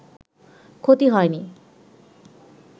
ক্ষতি হয়নি